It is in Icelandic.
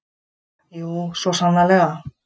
Jú, svo sannarlega!